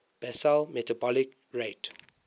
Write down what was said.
basal metabolic rate